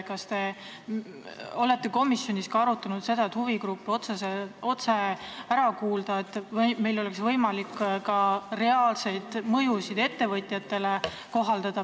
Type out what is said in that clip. Kas te olete komisjonis arutanud seda, et võiks huvigrupid otse ära kuulata, et oleks võimalik arvestada reaalseid mõjusid ettevõtjatele?